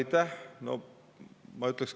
Aitäh!